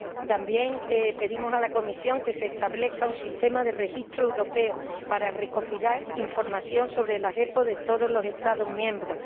También pedimos a la Comisión que se establezca un sistema de registro europeo para recopilar información sobre las OEP de todos los Estados miembros.